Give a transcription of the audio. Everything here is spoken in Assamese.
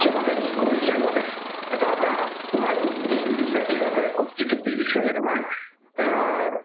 সিহঁতে কি কৰিছে সিহঁতে এটা এটা তোমাৰ উক্তি দি দিছে ঠিক আছে উক্তিটোত দি দিছে যে তোমাৰ এ আ